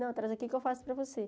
Não, traz aqui que eu faço para você.